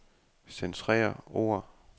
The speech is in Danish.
Centrer ord.